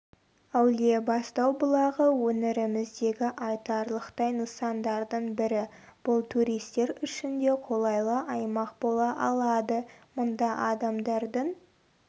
әулиебастау бұлағы өңіріміздегі айтарлықтай нысандардың бірі бұл туристер үшін де қолайлы аймақ бола алады мұнда адамдардың